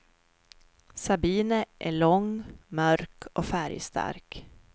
Sabine är lång, mörk och färgstark.